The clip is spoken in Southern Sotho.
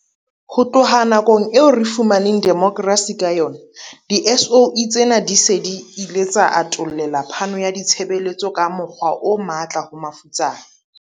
Ho tloha nakong eo re fumaneng demokrasi ka yona, di-SOE tsena di se di ile tsa atollela phano ya ditshebeletso ka mokgwa o matla ho mafutsana.